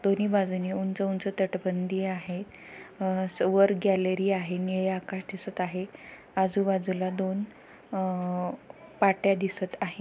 दोनी बाजूंनी ऊंच-ऊंच तटबंदी आहे. आ अस वर गॅलरी आहे निळे आकाश दिसत आहे आजूबाजूला दोन आ पाट्या दिसत आहे.